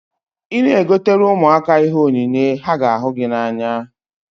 Ị na-egotere ụmụaka ihe onyinye, ha ga ahu gị n'anya